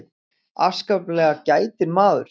Afskaplega gætinn maður.